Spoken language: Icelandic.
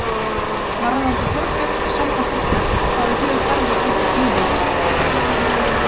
Varðandi Þorbjörn og samband ykkar, hvaða hug berðu til þess núna?